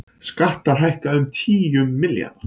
Skattar hækka um tíu milljarða